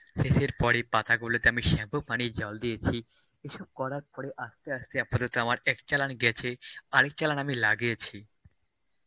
CHA এর পরে পাতা গুলোকে আমি শ্যাম্পু পানির জল দিয়েছি, এসব করার পরে আস্তে আস্তে আপাতত আমার এক চালান গেছে. আরেক চালান আমি লাগিয়েছি.